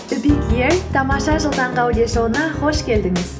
тамаша жыл таңғы аудиошоуына қош келдіңіз